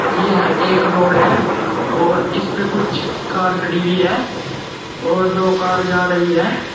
यह एक रोड है और इसपे कुछ कार खड़ी हुई है और दो कार जा रही है।